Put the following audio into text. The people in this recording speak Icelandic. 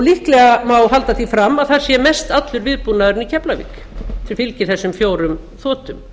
líklega má halda því fram að það sé mestallur viðbúnaðurinn í keflavík sem fylgir þessum fjórum þotum